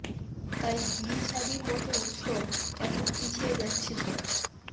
তাই বিয়ে শাদীর মতো উৎসব এখন পিছিয়ে যাচ্ছে সব